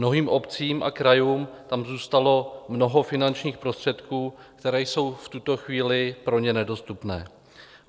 Mnohým obcím a krajům tam zůstalo mnoho finančních prostředků, které jsou v tuto chvíli pro ně nedostupné.